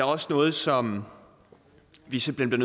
også noget som vi simpelt hen